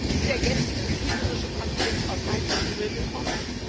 Ist der jetzige kriegerische Konflikt aus heiterem Himmel gekommen?